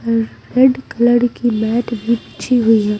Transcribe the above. रे red colour की mat भी बिछी हुई हैं।